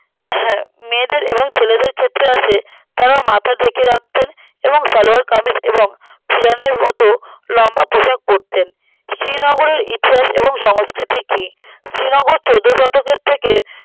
হ্যা মেয়েদের এবং ছেলেদের ক্ষেত্রে আসে তারা মাথা ঢেকে রাখতেন এবং সালোয়ার কামিজ এবং ছিয়ানের মতো লম্বা পোশাক পড়তেন শ্রীনগরের ইতিহাস এবং সংস্কৃতি কি শ্রীনগর চোদ্দোশতকের থেকে